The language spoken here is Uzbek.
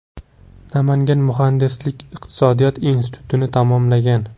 Namangan muhandislik-iqtisodiyot institutini tamomlagan.